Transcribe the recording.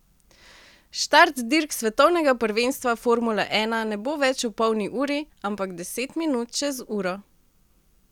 Štart dirk svetovnega prvenstva formule ena ne bo več ob polni uri, ampak deset minut čez uro.